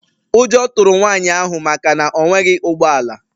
Ụjọ tụrụ nwanyị ahụ maka na o nweghị ụgbọ ala.